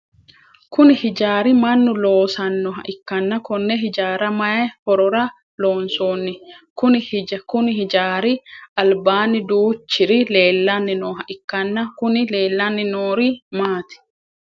Kunni hijaari mannu loosanoha ikanna konne hijaara mayi horora loonsoonni? Konni hijaari albaanni duuchurichi leelanni nooha ikanna Kunni leelanni noori maati?